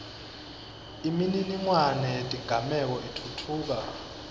imininingwane yetigameko itfutfuka